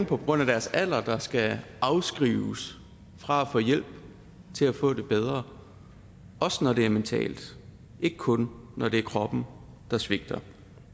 på grund af deres alder skal afskrives fra at få hjælp til at få det bedre også når det er mentalt ikke kun når det er kroppen der svigter